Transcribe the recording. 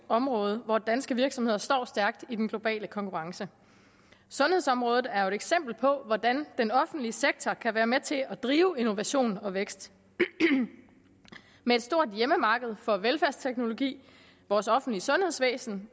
område hvor danske virksomheder står stærkt i den globale konkurrence sundhedsområdet er jo et eksempel på hvordan den offentlige sektor kan være med til at drive innovation og vækst med et stort hjemmemarked for velfærdsteknologi vores offentlige sundhedsvæsen